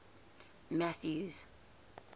mathews